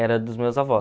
Era dos meus avós.